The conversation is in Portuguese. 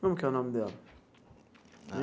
Como que é o nome dela?